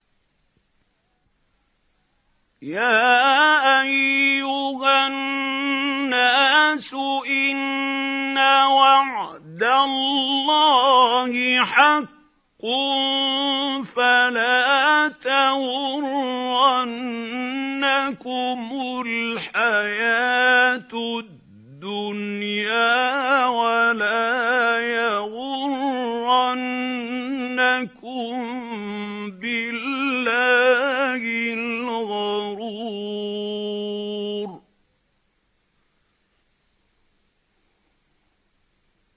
يَا أَيُّهَا النَّاسُ إِنَّ وَعْدَ اللَّهِ حَقٌّ ۖ فَلَا تَغُرَّنَّكُمُ الْحَيَاةُ الدُّنْيَا ۖ وَلَا يَغُرَّنَّكُم بِاللَّهِ الْغَرُورُ